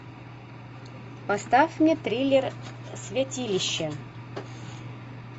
поставь мне триллер святилище